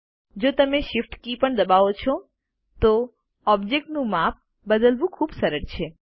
જો તમે Shift કી પણ દબાવો છો તો ઓબ્જેક્ટનું માપ બદલવું ખૂબ સરળ છે